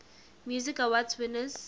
music awards winners